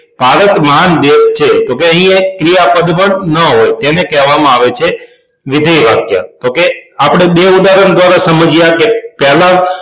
ભારત મહાન દેશ છે તો અહિ એક ક્રિયાપદ બંધ ન હોય તો તેને કહેવામાં આવે છે વિધેય વાક્ય તો કે આપણે બે ઉદાહરણ દ્વારા સમજ્યા કે તો પહેલા